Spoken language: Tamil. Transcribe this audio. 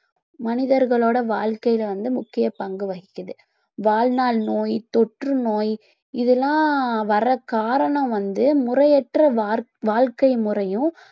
மனிதர்களோட வாழ்க்கையில வந்து முக்கிய பங்கு வகிக்குது வாழ்நாள் நோய் தொற்றுநோய் இதெல்லாம் வர காரணம் வந்து முறையற்ற வார்~ வாழ்க்கை முறையும்